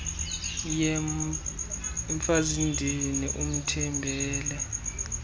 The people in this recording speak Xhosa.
yhe mfazindini uthembele